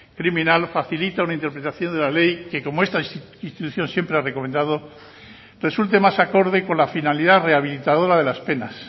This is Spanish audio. criminal facilita una interpretación de la ley que como esta institución siempre ha recomendado resulte más acorde con la finalidad rehabilitadora de las penas